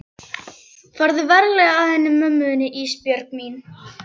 Farðu varlega að henni mömmu þinni Ísbjörg mín.